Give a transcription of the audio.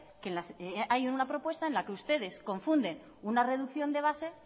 que hay una propuesta en la que ustedes confunden una reducción de base